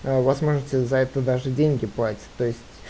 а у вас может за это даже деньги платят то есть